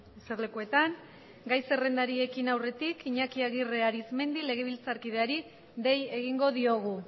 eserlekuetan eseri gai zerrendarekin aurretik iñaki agirre aritzmendi legerbiltzarkidearik dei egingo diogu